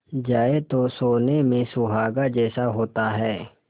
जाए तो सोने में सुहागा जैसा होता है